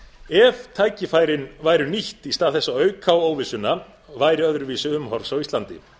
ef tækifærin væru nýtt í stað þess að auka á óvissuna væri öðruvísi umhorfs á íslandi